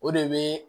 O de bɛ